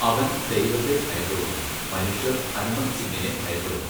അവൻ ദൈവത്തെ ഭയപ്പെടുന്നു, മനുഷ്യർ ഹനുമന്ത് സിങ്ങിനെ ഭയപ്പെടുന്നു.